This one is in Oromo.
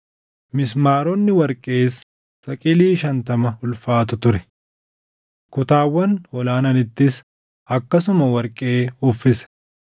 Mismaaronni warqees saqilii shantama ulfaatu ture. Kutaawwan ol aananittis akkasumas warqee uffise.